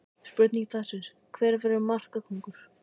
Spurning dagsins: Hver verður markakóngur?